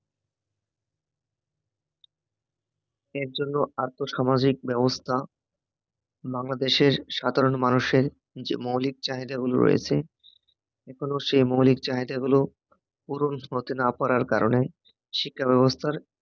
এর জন্য আর্থসামাজিক ব্যবস্থা বাংলাদেশের সাধারণ মানুষের যে মৌলিক চাহিদাগুলো রয়েছে এখনও সে মৌলিক চাহিদাগুলো পূরণ করতে না পারার কারণে শিক্ষাব্যবস্থার